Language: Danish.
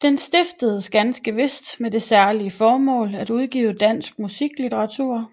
Den stiftedes ganske vist med det særlige formål at udgive dansk musiklitteratur